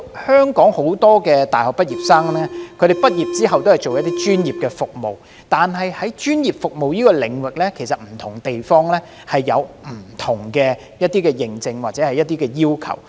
香港很多大學生畢業後均從事專業服務，但在專業服務的領域上，不同地方其實有不同的認證或要求。